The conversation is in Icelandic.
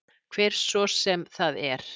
Hver svo sem það er.